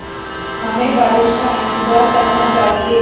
हमें बारिश का इंतज़ार करना चाहिए